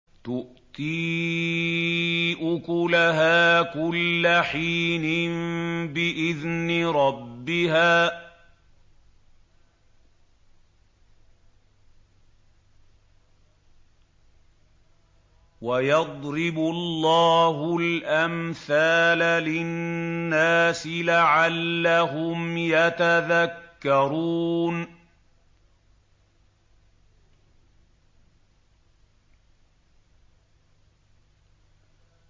تُؤْتِي أُكُلَهَا كُلَّ حِينٍ بِإِذْنِ رَبِّهَا ۗ وَيَضْرِبُ اللَّهُ الْأَمْثَالَ لِلنَّاسِ لَعَلَّهُمْ يَتَذَكَّرُونَ